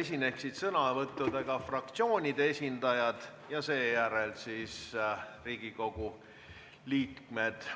esineksid sõnavõtuga fraktsioonide esindajad ja seejärel Riigikogu liikmed.